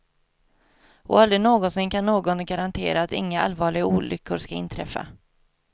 Och aldrig någonsin kan någon garantera att inga allvarliga olyckor ska inträffa.